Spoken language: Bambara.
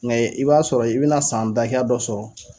Nke i b'a sɔrɔ i bɛna san da hakɛya dɔ sɔrɔ.